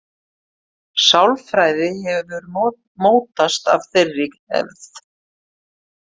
Sálfræði hefur mótast af þeirri hefð.